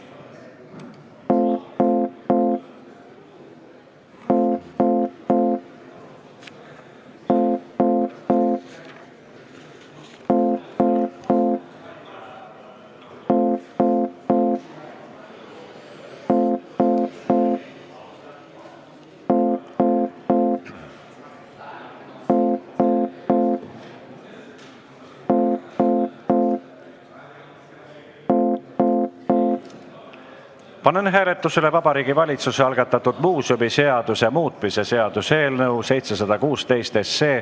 Panen hääletusele Vabariigi Valitsuse algatatud muuseumiseaduse muutmise seaduse eelnõu 716.